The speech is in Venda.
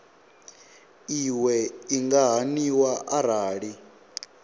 iwe i nga haniwa arali